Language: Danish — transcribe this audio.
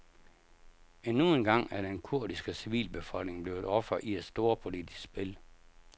Endnu engang er den kurdiske civilbefolkning blevet offer i et storpolitisk spil.